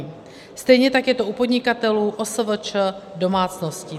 Stejně tak je to u podnikatelů, OSVČ, domácností.